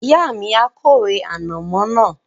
Ìyá mi a kórè ànàmọ́ náà